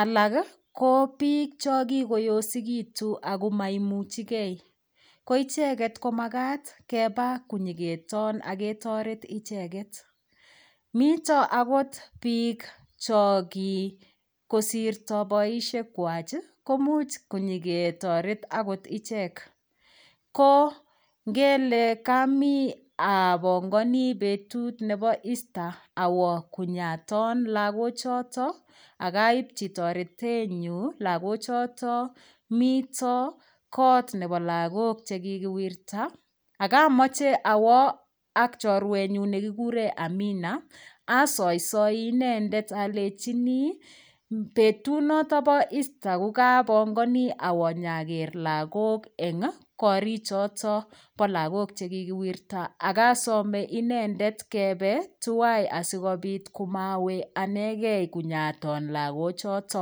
alak ko biik cho kikoyosikitu ako maimuchigei ko icheget komakat kebab konyiketon akotoret icheget mito akot biik cho kosirto boishek wach ko muuch konyiketoret akot ichek ko ngele kami abongoni betut nebo Easter awo konyaton lakochoto akaipchi toretenyu lakochoto mito kot nebo lakok chekikiwirta akamoche awo ak chorwenyu nekikuren amina asoisoi inendet alechini betut noto bo Easter kukabongoni awo nyaker lakok eng' korchotok bo lakok chekikiwirta akosome inendet kebe tuwai asikobit kumawe anegei konyaton lakochoto